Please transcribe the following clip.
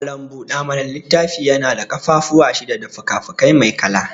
Malam buɗa mana littafi yana da ƙafafuwan shida da fikafiki mai kala.